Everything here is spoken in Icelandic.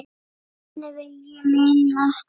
Þannig vil ég minnast hans.